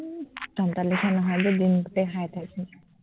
উম তহঁতৰ নিচিনা নহয় যে দিনটোতে খাই থাকিম